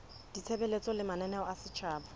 ditshebeletso le mananeo a setjhaba